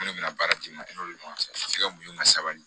Ne bɛna baara di ne ma ne n'olu ni ɲɔgɔn cɛ a bɛ se ka mun ka sabali